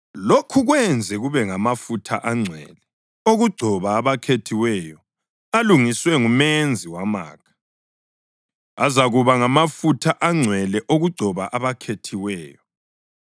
Lokhu kwenze kube ngamafutha angcwele okugcoba abakhethiweyo alungiswe ngumenzi wamakha, azakuba ngamafutha angcwele okugcoba abakhethiweyo.